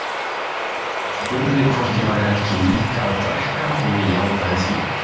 Hann spurði hvort ég væri ekki líka að drekka og ég játaði því.